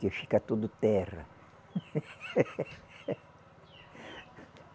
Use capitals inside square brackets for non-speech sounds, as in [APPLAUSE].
Que fica tudo terra. [LAUGHS]